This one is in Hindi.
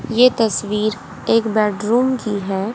ये तस्वीर एक बेडरूम की है।